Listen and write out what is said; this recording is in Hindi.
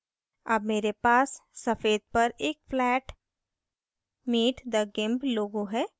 अब मेरे पास सफ़ेद पर एक flat meet the gimp logo है